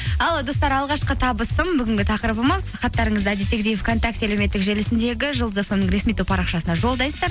ал достар алғашқы табысым бүгінгі тақырыбымыз хаттарыңызды әдеттегідей вконтакте әлеуметтік желісіндегі жұлдыз фм ресми топ парақшасына жолдайсыздар